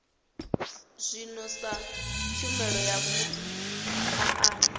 zwino sa tshumelo ya maana